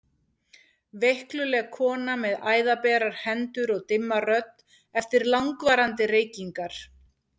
Veikluleg kona með æðaberar hendur og dimma rödd eftir langvarandi reykingar.